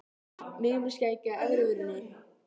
Mig með skegg á efri vörinni.